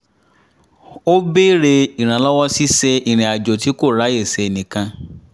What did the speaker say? ó béèrè ìrànlọ́wọ́ ṣíṣe irinàjò tí kò ráyè ṣe nìkan